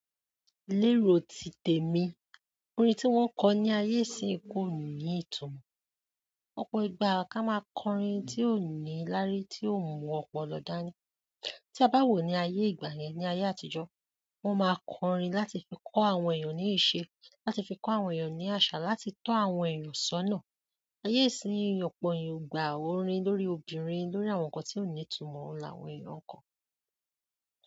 Niro ti tèmi, orin tí wón kọ ní ayé ìsìn yi koni itumo. Òpó ìgbà ká máa kọ orin tí ò ní lári tí ò mú ọ̀pọ̀ dání. Tí a bá wò ní ayé ìgbà yẹn ní ayé àtijọ́, wón máa kọ orin láti fi kọ́ àwọn ènìyàn ní ìṣe, láti fi kọ́ àwọn ènìyàn ní àṣà, láti tó àwọn ènìyàn sọ́nà. Ayé ìsìn òpó eeyan o gbà orin lórí obìnrin, lórí àwọn nǹkan tí ò ní ìtumọ̀ oun làwọn èèyàn n kọ.